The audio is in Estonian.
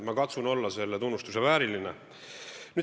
Ma katsun olla selle tunnustuse vääriline.